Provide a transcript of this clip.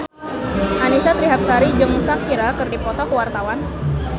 Annisa Trihapsari jeung Shakira keur dipoto ku wartawan